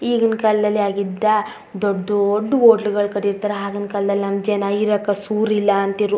ಈಗಿನ್ ಕಾಲದಲ್ಲಿ ಆಗಿದ್ದ ದೊಡ್ಡ್ ದೊಡ್ಡ್ ಹೊಟ್ಲ್ ಗಳು ಕಟ್ಟಿರ್ತರೆ ಹಾಗಿನ್ ಕಾಲದಲ್ಲಿ ನಮ್ಮ್ ಜನ ಇರಕ್ ಸೂರ್ ಇಲ್ಲಾ ಅಂತಿರು.